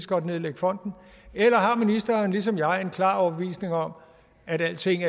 godt nedlægge fonden eller har ministeren ligesom jeg en klar overbevisning om at alting